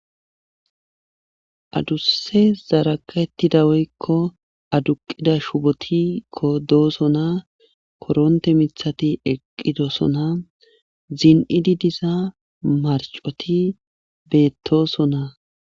Aduse zaraka ettida woykko aduqida shubotikko dooso naa koronte mithati eqqidosona zin7idi diza marcoti beettooso naa